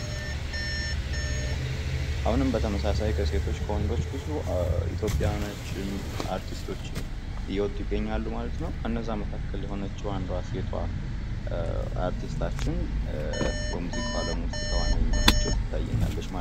አሁንም በተመሳሳይ ኢትዮጵያ ውስጥ የተለያዩ ወንድና ሴት አርቲስትቶች እየወጡ ነው ።ከነዚህም አንዷን ሴት ነዉ የምናያት ማለት ነው ።